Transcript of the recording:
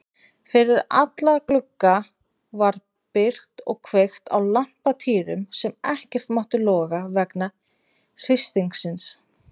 Fyrir alla glugga var byrgt og kveikt á lampatýrum sem ekkert máttu loga vegna hristingsins.